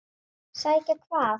Sækja hvað?